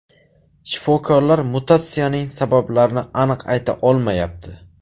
Shifokorlar mutatsiyaning sabablarini aniq ayta olmayapti.